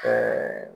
Ɛɛ